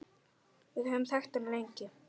Við höfum þekkt hann lengi.